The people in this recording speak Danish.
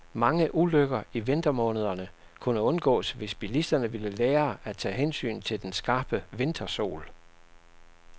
Mange ulykker i vintermånederne kunne undgås, hvis bilisterne ville lære at tage hensyn til den skarpe vintersol.